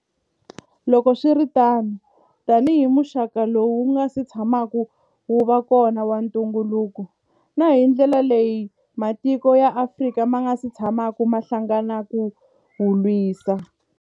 Loko swi ri tano, tanihi muxaka lowu wu nga si tsha maka wu va kona wa ntu ngukulu, na hi ndlela leyi matiko ya Afrika ma nga si tshamaka ma hlangana ku wu lwisa.